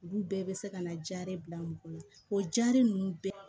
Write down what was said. Olu bɛɛ bɛ se ka na jaa de bila mɔgɔ la o jaabi ninnu bɛɛ